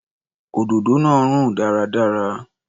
Òdòdó náà rùn dáradára.